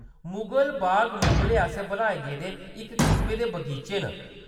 मुगल बाग मुगलें आसेआ बनाए गेदे इक किसमै दे बगीचे न।